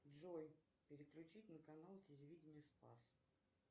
джой переключить на канал телевидение спас